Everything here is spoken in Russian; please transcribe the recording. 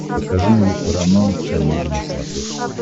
покажи мне парамаунт комеди на смотрешке